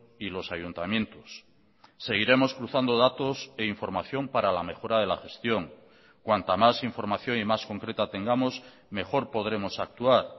y los ayuntamientos seguiremos cruzando datos e información para la mejora de la gestión cuanta más información y más concreta tengamos mejor podremos actuar